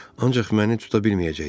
Ancaq məni tuta bilməyəcəksiz.